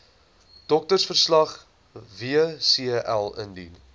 doktersverslag wcl indien